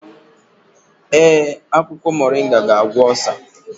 Ee, akwụkwọ moringa ga-agwọ osa.